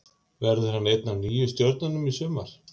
Verður hann ein af nýju stjörnunum í sumar?